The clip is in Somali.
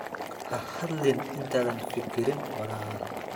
Ha hadlin intaadan fikirin walaal.